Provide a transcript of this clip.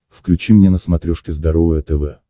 включи мне на смотрешке здоровое тв